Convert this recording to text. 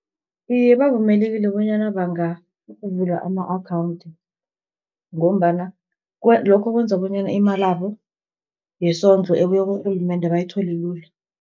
Iye bavumelekile bonyana bangavula ama-akhawunthi, ngombana lokho kwenza bonyana imalabo yesondlo, ebuya kurhulumende bayithole lula.